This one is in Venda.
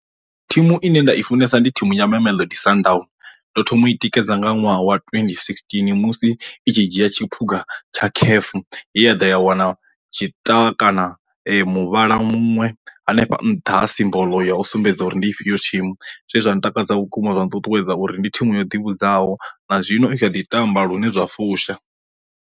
Thimu ine nda i funesa ndi thimu ya mamelodi sundowns, ndo thoma u i tikedza nga ṅwaha wa twendi sixteen musi i tshi dzhia tshiphuga tsha caf ya ḓo ya wana tshita kana muvhala muṅwe hanefha nṱha ha simboḽo ya u sumbedza uri ndi ifhio thimu, zwe zwa ntakadza vhukuma zwa nṱuṱuwedza uri ndi thimu yo ḓivhadzwaho na zwino u a ḓi tamba lune zwa fusha.